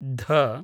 ध